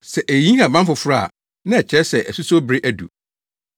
Sɛ eyiyi nhaban foforo a na ɛkyerɛ sɛ asusow bere adu.